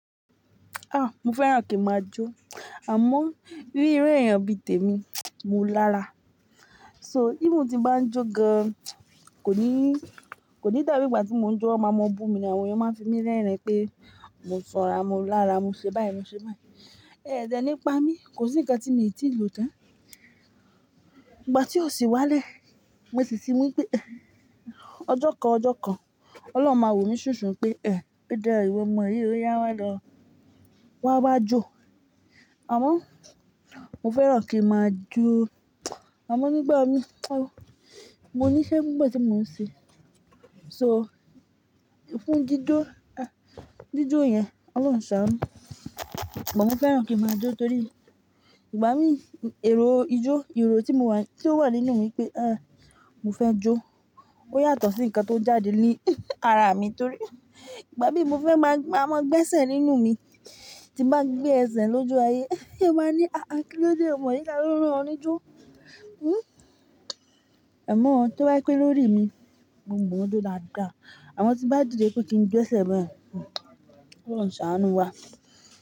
Ah! Mo fẹ́ràn kí n máa jó. Àmọ́, ríro ẹ̀yàn bi tèmi, mo lára. So, even tín bá ń jó gan, kò ní, kò ní dàbí ìgbà tí mò ń jó máa mọ bú mi ní, àwọn ènìyàn máa ń fi mí rérìn pé, mo sọ́ra, mo lára, mo ṣe báyìí, mo ṣe báyìí. Ẹ̀dẹ̀ nípa mi, kò sí nǹkan tí mi ò tíì lò tán. Ìgbà tí ó sì wálẹ̀, mo sì ti wí pé, ọjọ́ kan ọjọ́ kan, Ọlọ́run máa wò mí ṣùnsun pé, "Ẹ̀, pé dárí ọmọ, èyí ríro yá wá lọ, wá wá jó." Àmọ́, mo fẹ́ràn kí n máa jó. Àmọ́ nípa mi, mo ní iṣẹ́ nígbà tí mò ń ṣe. So, fún dídó, ah! Dídó yẹn, Ọlọ́run ṣàánú. Ìgbà mo fẹ́ràn kí n máa jó torí, ìgbà mi, èrò ijó, èrò tí mo wà, tí ó wà nínú mi pé, ah! Mo fẹ́ jó. Ó yàtọ̀ sí nǹkan tó jáde ní ara mi torí, ìgbà bí mo fẹ́ máa gba ọmọ gbẹ́sẹ̀ nínú mi, tí n bá gbé ẹsẹ̀ lójú aye, ẹ máa ní, "Àáa, kí ló dé ọmọ yìí ká ló ń rọ ọ ní jó?" Hmm. Ẹ̀ mọ́ ohun tí wọ́n pè lórí mi mo mọ n jo dáadáa. Àwọn tí n bá dìde pé kí n gbé ẹsẹ̀ bẹ́ẹ̀, Ọlọ́run ṣàánú wá.